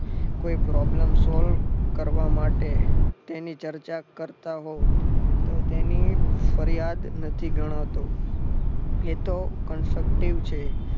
કોઈ problem solve કરવા માટે તેની ચર્ચા કરતા હોવ તો તેની ફરિયાદ નથી ગણાતો એ તો constructive છે.